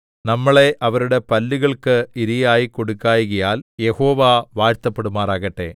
നമ്മളെ അവരുടെ പല്ലുകൾക്ക് ഇരയായി കൊടുക്കായ്കയാൽ യഹോവ വാഴ്ത്തപ്പെടുമാറാകട്ടെ